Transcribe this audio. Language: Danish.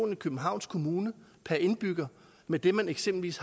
i københavns kommune per indbygger med det man eksempelvis